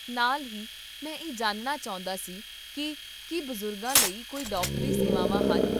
ਨਾਲ ਹੀ, ਮੈਂ ਇਹ ਜਾਣਨਾ ਚਾਹੁੰਦਾ ਸੀ ਕਿ ਕੀ ਬਜ਼ੁਰਗਾਂ ਲਈ ਕੋਈ ਡਾਕਟਰੀ ਸੇਵਾਵਾਂ ਹਨ?